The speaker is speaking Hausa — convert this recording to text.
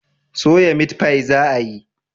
soya mitfai za a yi?